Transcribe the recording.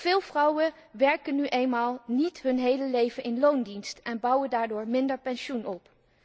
Veel vrouwen werken nu eenmaal niet hun hele leven in loondienst en bouwen daardoor minder pensioen op.